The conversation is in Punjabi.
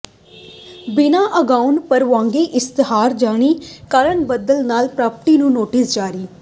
ਬਿਨਾਂ ਅਗਾਊਾ ਪ੍ਰਵਾਨਗੀ ਇਸ਼ਤਿਹਾਰ ਜਾਰੀ ਕਰਨ ਬਦਲੇ ਚਾਰ ਪਾਰਟੀਆਂ ਨੂੰ ਨੋਟਿਸ ਜਾਰੀ